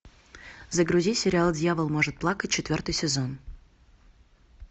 загрузи сериал дьявол может плакать четвертый сезон